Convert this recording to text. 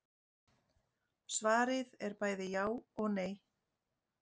Svarið er bæði já og nei.